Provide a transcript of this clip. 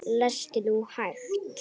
Lestu nú hægt!